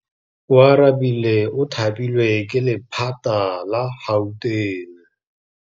Oarabile o thapilwe ke lephata la Gauteng.